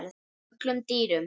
öllum dýrum